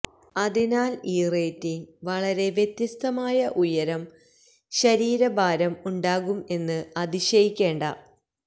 അതിനാൽ ഈ റേറ്റിംഗ് വളരെ വ്യത്യസ്തമായ ഉയരം ശരീരഭാരം ഉണ്ടാകും എന്ന് അതിശയിക്കേണ്ട